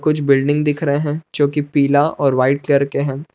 कुछ बिल्डिंग दिख रहे हैं जो कि पीला और व्हाइट कर के हैं।